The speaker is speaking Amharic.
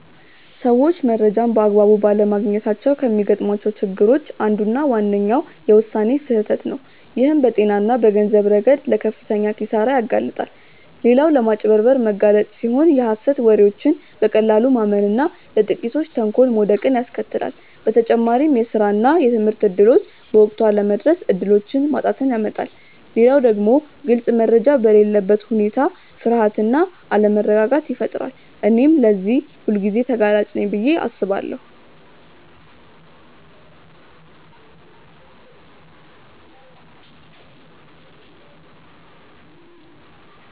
ሰዎች መረጃን በአግባቡ ባለማግኘታቸው ከሚገጥሟቸው ችግሮች አንዱና ዋነኛው የውሳኔ ስህተት ነው፣ ይህም በጤና እና በገንዘብ ረገድ ለከፍተኛ ኪሳራ ያጋልጣል። ሌላው ለማጭበርበር መጋለጥ ሲሆን የሀሰት ወሬዎችን በቀላሉ ማመን እና ለጥቂቶች ተንኮል መውደቅን ያስከትላል። በተጨማሪም የስራ እና የትምህርት እድሎች በወቅቱ አለመድረስ እድሎችን ማጣትን ያመጣል። ሌላው ደግሞ ግልጽ መረጃ በሌለበት ሁኔታ ፍርሃት እና አለመረጋጋት ይፈጠራል። እኔም ለዚህ ሁልጊዜ ተጋላጭ ነኝ ብዬ አስባለሁ።